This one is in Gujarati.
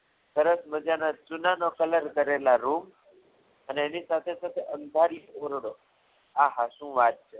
સરસ મજાના ચૂનાના colour કરેલા room અને એની સાથે સાથે અંધારી ઓરડો આ શું વાત છે.